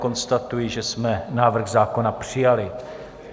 Konstatuji, že jsme návrh zákona přijali.